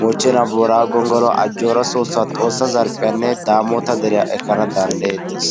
mochenna boraggo gongolluwaa, ajora soosuwa, xoossa zarphphiyaanne damotta deriyaa ekkana dandayettes.